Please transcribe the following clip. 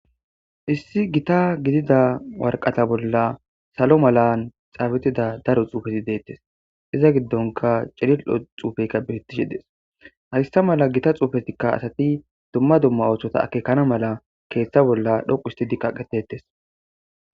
Issi gita gidida warqata bolla salo malan xaabitida daro xuufeti deettes iza giddonka cilil7o xuufeyka birttishe des hayssa mala gita xuufetikka asati dumma dumma ooththota akeekana mala keeththa bolla dhoqu histidi kaqetettes.